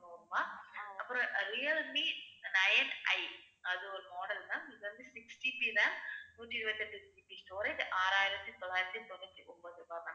அப்புறம் அஹ் Realme nineI அது ஒரு model ma'am இது வந்து 6GB RAM நூத்தி இருபத்தி எட்டு GB storage ஆறாயிரத்தி தொள்ளாயிரத்தி தொண்ணூத்தி ஒன்பது ரூபாய் ma'am